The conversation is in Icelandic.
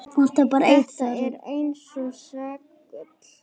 Þetta er eins og segull.